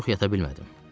Ancaq çox yata bilmədim.